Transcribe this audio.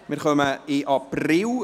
Wir kommen zum April: